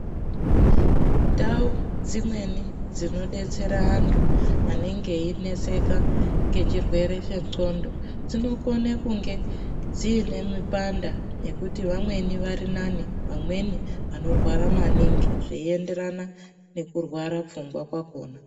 Ndau dzimweni dzinodetsera antu anenge eineseka ngechirwere chendxondo dzinokone kunge dziine mipanda nekuti vamweni vari nani vamweni veirwara maningi zveienderana nekurwara pfungwa kwakhona.